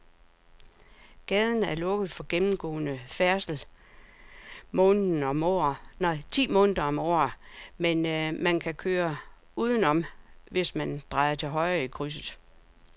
Gaden er lukket for gennemgående færdsel ti måneder om året, men man kan køre udenom, hvis man drejer til højre i krydset.